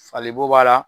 Fali bo b'a la